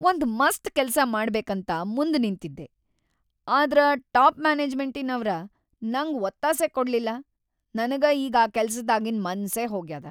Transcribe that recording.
ಒಂದ್‌ ಮಸ್ತ್‌ ಕೆಲ್ಸ ಮಾಡಬೇಕಂತ ಮುಂದ್‌ ನಿಂತಿದ್ದೆ ಆದ್ರ ಟಾಪ್‌ ಮ್ಯಾನೆಜ್ಮೆಂಟಿನವ್ರ ನಂಗ್ ಒತ್ತಾಸೆ ಕೊಡಲಿಲ್ಲ, ನನಗ ಈಗ್ ಆ ಕೆಲ್ಸದಾಗಿನ್‌ ಮನ್ಸೇ ಹೋಗ್ಯಾದ.